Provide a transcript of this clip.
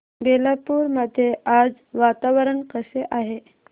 बेलापुर मध्ये आज वातावरण कसे आहे